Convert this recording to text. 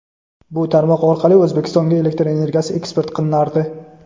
Bu tarmoq orqali O‘zbekistonga elektr energiyasi eksport qilinardi.